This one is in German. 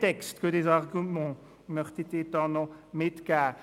Das möchte ich Ihnen noch mitgeben.